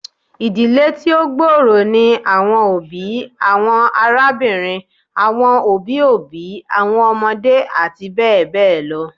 Idile ti o gbooro ni awọn obi, awọn arabinrin, awọn obi obi, awọn ọmọde ati bẹbẹ lọ